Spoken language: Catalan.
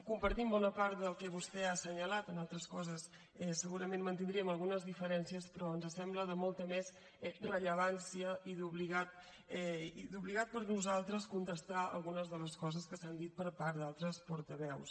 compartim bona part del que vostè ha assenyalat en altres coses segurament mantindríem algunes diferències però ens sembla de molta més rellevància i obligat per nosaltres contestar algunes de les coses que s’han dit per part d’altres portaveus